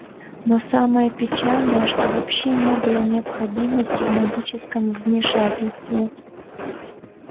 но самое печальное что вообще не было необходимости в магическом вмешательстве